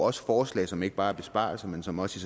også forslag som ikke bare besparelser men som også